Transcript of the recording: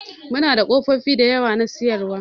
Muna da ƙofofi da yawa na siyarwa.